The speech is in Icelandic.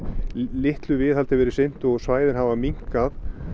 litlu viðhaldi veirð sinnt og svæðin hafa minnkað